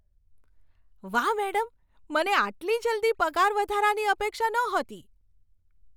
વાહ, મેડમ! મને આટલી જલ્દી પગારવધારાની અપેક્ષા નહોતી!